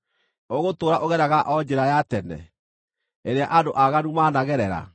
Ũgũtũũra ũgeraga o njĩra ya tene ĩrĩa andũ aaganu managerera?